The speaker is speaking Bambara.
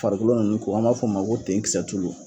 Farikolo nunnu ko an b'a f'o ma ko ten kisɛtulu